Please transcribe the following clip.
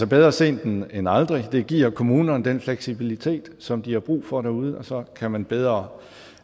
bedre sent end aldrig det giver kommunerne den fleksibilitet som de har brug for derude og så kan man bedre